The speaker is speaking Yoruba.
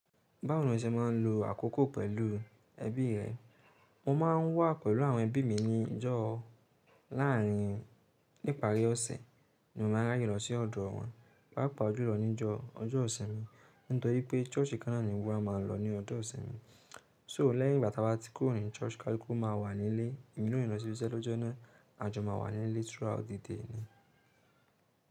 Báwo ni ó ṣe máa ń lo àkókò pẹ̀lú ẹbí rẹ? Mo máa ń wà pẹ̀lú àwọn ẹbí mi ní jọ́ láàrin níparí ọ̀sẹ̀ ni mo máa ń ráyè lọ sí ọ̀dọ̀ wọn. Pápa júlo níjọ́ ọjọ́ ìṣì mi. Nítorí pé ṣọ́ọ̀ṣì kan náà ni gbogbo wá máa ń lọ ní ọ̀jọ́ ìṣi mi. So lẹ́yìn ìgbà ta bá ti kúrò ní ṣọ́ọ̀ṣì káluku máa wà nílé, èmi na ó ní lọ síbi iṣẹ́ lójọ náà a jọ máa wà nílé throughout the day ni.